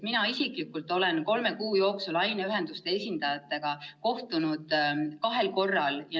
Mina olen kolme kuu jooksul ise aineühenduste esindajatega kohtunud kahel korral.